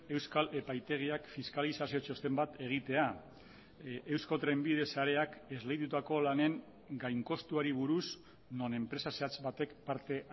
euskal epaitegiak fiskalizazio txosten bat egitea eusko trenbide sareak esleitutako lanen gain kostuari buruz non enpresa zehatz batek parte